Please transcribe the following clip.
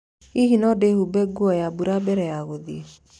Hihi no ndĩhumbe nguo ya mbura mbere ya gũthiĩ?